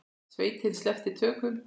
Sveitin sleppti tökum.